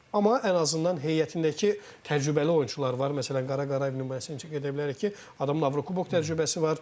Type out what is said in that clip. Amma ən azından heyətdəki təcrübəli oyunçular var, məsələn, Qara Qarayev nümayəndəsini çəkə bilərik ki, adamın Avrokubok təcrübəsi var.